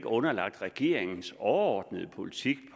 underlagt regeringens overordnede politik